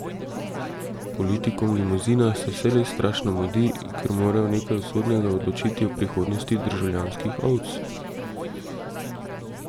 Politikom v limuzinah se vselej strašno mudi, ker morajo nekaj usodnega odločiti o prihodnosti državljanskih ovc.